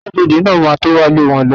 Aṣọ́bọdè náà ma tó wá lé wọn lọ